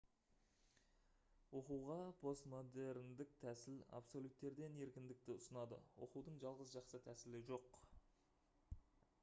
оқуға постмодерндік тәсіл абсолюттерден еркіндікті ұсынады оқудың жалғыз жақсы тәсілі жоқ